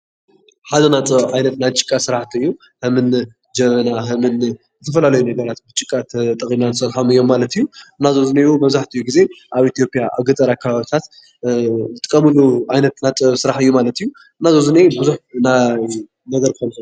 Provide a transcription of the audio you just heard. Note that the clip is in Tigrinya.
ሓደ ናይ ጥበብ ዓይነት ናይ ጭቃ ስራሕቲ እዩ፡፡ ከምኒ ጀበና ዝተፈላለዩ ነገራት ብጭቃ ተጠቂምና እንሰርሖም እዮም ማለት እዩ፡፡ እና እዞም ኣብዙይ ዝኒሄው መብዛሕትኡ ግዜ ኣብ ኢትዮጵያያ ኣብ ገጠር ከባቢታት ዝጥቀምሉ ናይ ጥበበ ስራሕ እዩ ማለት እዩ፡እና ዘ ብዙይ ዝኒሀ ቡዙሕ